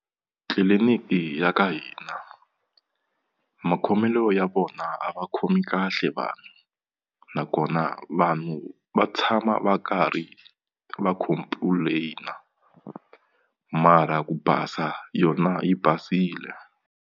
Tliliniki ya ka hina makhomelo ya vona a va khomi kahle vanhu nakona vanhu va tshama va karhi va complain-a mara ku basa yona yi basile.